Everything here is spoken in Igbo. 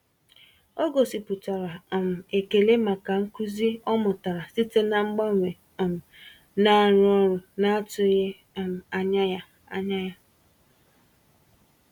Ọ gosipụtara um ekele maka nkuzi ọ mụtara site na mgbanwe um na-arụ ọrụ na-atụghị um anya ya. anya ya.